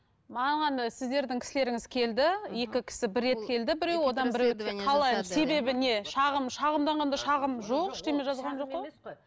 саған сіздердің кісілеріңіз келді екі кісі бір рет келді